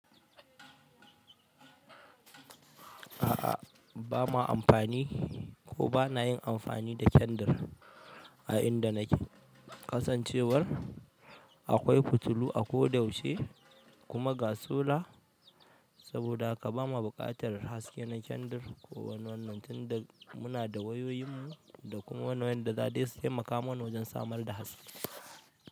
A'a, ba ma amfani ko ba ma yin amfani da kyandir a inda nake. Kasancewar akwai fitilu a ko da yaushe kuma ga sola, saboda haka ba ma buƙatar haske na kyandir ko wani wannan. Tun da muna da wayoyin mu da kuma wayoyin da za su yi makamansa wajen samar da haske.